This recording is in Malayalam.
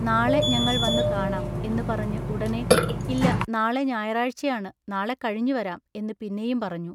“നാളെ ഞങ്ങൾവന്നു കാണാം എന്നു പറഞ്ഞു ഉടനെ "ഇല്ല നാളെ ഞായറാഴ്ചയാണു നാളെ കഴിഞ്ഞുവരാം എന്നു പിന്നെയും പറഞ്ഞു.